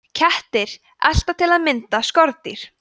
kettir elta til að mynda skordýr